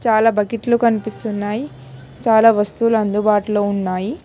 చాలా బకెట్లు కనిపిస్తున్నాయి చాలా వస్తువులు అందుబాటులో ఉన్నాయి.